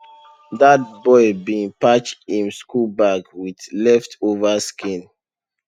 dat boy bin patch him school bag with leftover skin